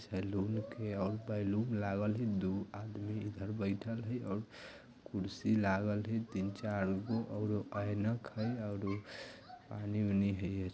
सैलून के औ बैलून लागल है दू आदमी इधर बेठल है और कुर्सी लागल है तीन चार गो अउरो आइनक है औरो